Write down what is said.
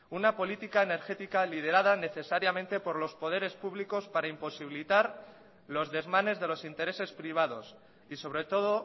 una política energética liderada necesariamente por los poderes públicos para imposibilitar los desmanes de los intereses privados y sobre todo